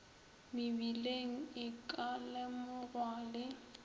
mebileng e ka lemogwa le